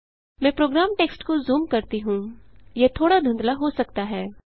मैं program text को zoom करती हूँ यह थोड़ा धुंधला हो सकता है